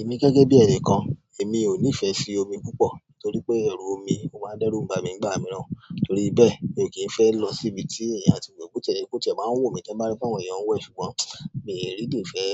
Èmi gẹ́gẹ́ bí ẹni kan, èmi ò nífẹ̀ẹ́ sí omi púpọ̀ torí pé ẹrù omi ó máa dẹ́rù ba mi nígbà mìíràn. Torí bẹ́ẹ̀, mi ò kí ń fẹ́ lọ sí ibi tí èèyàn á ti wẹ̀ bó ti ẹ̀ jẹ́ pé ó máa n wù mí tí n bá rí pé àwọn èèyàn wẹ̀ ṣùgbọ́n mì really fẹ́